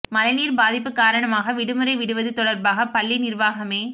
மழை நீர் பாதிப்பு காரணமாக விடுமுறை விடுவது தொடர்பாக பள்ளி நிர்வாகமே